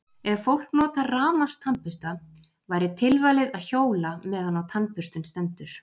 Ef fólk notar rafmagnstannbursta væri tilvalið að hjóla meðan á tannburstun stendur.